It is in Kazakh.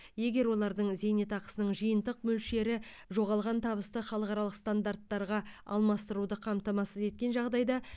егер олардың зейнетақысының жиынтық мөлшері жоғалған табысты халықаралық стандарттарға алмастыруды қамтамасыз еткен жағдайда